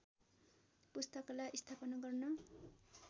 पुस्तकालय स्थापना गर्न